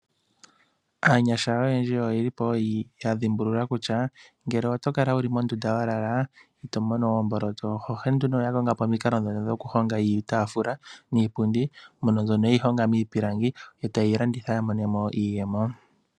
Aanyasha oyendji oyeli po yadhimbulula kutya ngele oto kala wuli mondunda walala ito mono omboloto. Onkene nduno oya kongapo omiikalo dhono dhoku honga iitafula niipundi mono mbyono yeli honga miipilangi. Eta yeyi landitha ya monemo iiyemo.